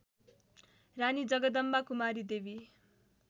रानी Jagdambakumari देवी